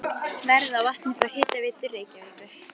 Verð á vatni frá Hitaveitu Reykjavíkur